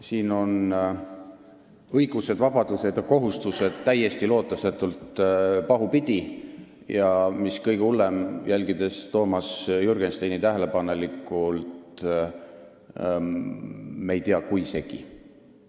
Siin on õigused, vabadused ja kohustused täiesti lootusetult pahupidi, ja mis kõige hullem, jälgides Toomas Jürgensteini tähelepanelikult, selgus, et me ei tea, kui segi.